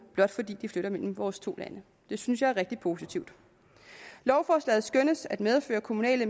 blot fordi de flytter mellem vores to lande og det synes jeg er rigtig positivt lovforslaget skønnes at medføre kommunale